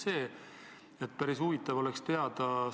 Neid oleks päris huvitav teada.